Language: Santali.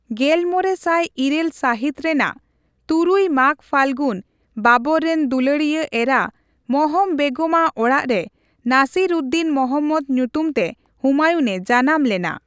ᱜᱮᱞᱢᱚᱲᱮ ᱥᱟᱭ ᱤᱨᱟᱹᱞ ᱥᱟᱦᱤᱛ ᱨᱮᱱᱟᱜ ᱛᱩᱨᱩᱭ ᱢᱟᱜᱼᱯᱷᱟᱜᱩᱱ ᱵᱟᱵᱚᱨ ᱨᱮᱱ ᱫᱩᱞᱟᱹᱲᱤᱭᱟᱹ ᱮᱨᱟ ᱢᱚᱦᱚᱢ ᱵᱮᱜᱚᱢ ᱟᱜ ᱚᱲᱟᱜᱨᱮ ᱱᱟᱥᱤᱨᱼᱩᱫᱽᱼᱫᱤᱱ ᱢᱚᱦᱚᱢᱢᱚᱫᱽ ᱧᱩᱛᱩᱢᱛᱮ ᱦᱩᱢᱟᱭᱩᱱ ᱮ ᱡᱟᱱᱟᱢ ᱞᱮᱱᱟ ᱾